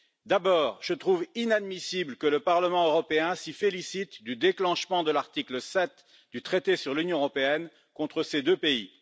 D'abord, je trouve inadmissible que le Parlement européen s'y félicite du déclenchement de l'article 7 du traité sur l'Union européenne contre ces deux pays.